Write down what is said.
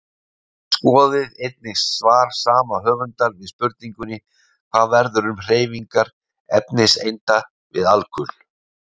Skoðið einnig svar sama höfundar við spurningunni Hvað verður um hreyfingar efniseinda við alkul?